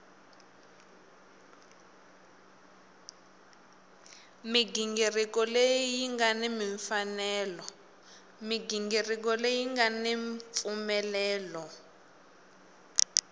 mighingiriko leyi nga ni mpfumelelo